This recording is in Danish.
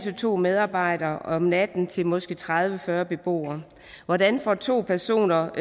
to medarbejdere om natten til måske tredive til fyrre beboere hvordan får to personer